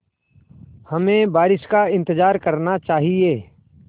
हमें बारिश का इंतज़ार करना चाहिए